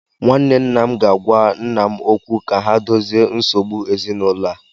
Nwanne nna m ga-agwa nna m okwu ka ha dozie nsogbu ezinụlọ a?